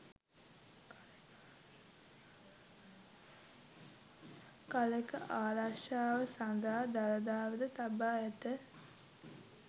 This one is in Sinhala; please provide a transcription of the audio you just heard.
කලෙක ආරක්‍ෂාව සඳහා දළදාවද තබා ඇත